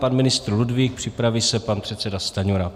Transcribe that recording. Pan ministr Ludvík, připraví se pan předseda Stanjura.